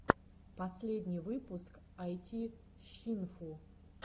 последний выпуск айтищинфу